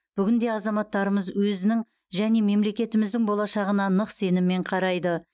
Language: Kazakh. бүгінде азаматтарымыз өзінің және мемлекетіміздің болашағына нық сеніммен қарайды